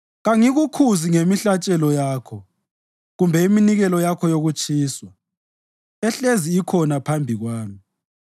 Kangikukhuzi ngemihlatshelo yakho kumbe iminikelo yakho yokutshiswa, ehlezi ikhona phambi kwami.